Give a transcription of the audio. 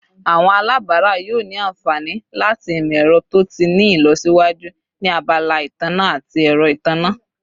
Awọn alabara yoo ni anfani lati imọ-ẹrọ to ti ni ilọsiwaju ni abala itanna ati ẹrọ itanna